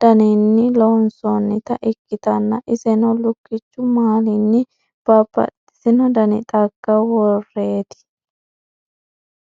daninni loonsoonnita ikkitanna , iseno lukkichu maalinni babbaxitino dani xagga worreeti.